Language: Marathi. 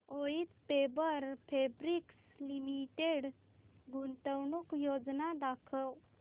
वोइथ पेपर फैब्रिक्स लिमिटेड गुंतवणूक योजना दाखव